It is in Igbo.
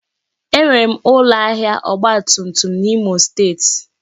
Enwere m ụlọ ahịa ọgba tum tum n'Imo steeti